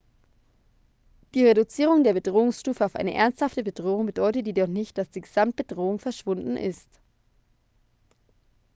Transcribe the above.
die reduzierung der bedrohungsstufe auf eine ernsthafte bedrohung bedeutet jedoch nicht dass die gesamtbedrohung verschwunden ist